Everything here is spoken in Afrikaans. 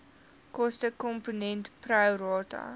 kostekomponent pro rata